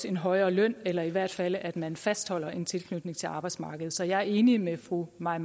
en højere løn eller i hvert fald til at man fastholder en tilknytning til arbejdsmarkedet så jeg er enig med fru mai